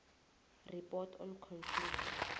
report on conflict